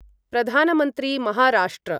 प्रधानमन्त्री महाराष्ट्र